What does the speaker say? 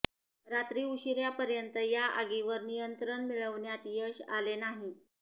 रात्री उशीरापर्यंत या आगीवर नियंत्रण मिळविण्यात यश आले नाही